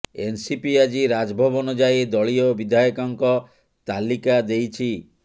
NCP ଆଜି ରାଜଭବନ ଯାଇ ଦଳୀୟ ବିଧାୟକଙ୍କ ତାଲିକା ଦେଇଛି